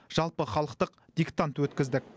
жалпыхалықтық диктант өткіздік